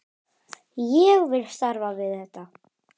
Ég vil starfa við þetta.